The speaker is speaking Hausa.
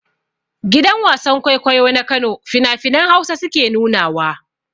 Gidan wasan-kwaikwayo na kano fina-finan hausa suke nuna wa.